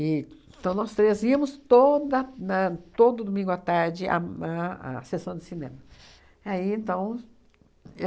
E então, nós três íamos toda na todo domingo à tarde à ma à à sessão de cinema. Aí então